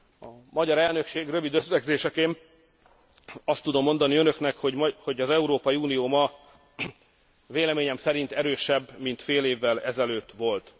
A magyar elnökség rövid összegzéseként azt tudom mondani, hogy az Európai Unió ma véleményem szerintem erősebb, mint fél évvel ezelőtt volt.